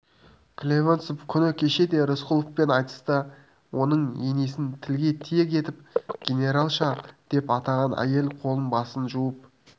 клевенцов күні кеше те рысқұловпен айтыста оның енесін тілге тиек етіп генералша деп атаған әйел қолы-басын жуып